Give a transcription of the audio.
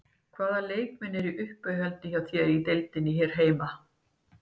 Hvaða leikmenn eru í uppáhaldi hjá þér í deildinni hér heima?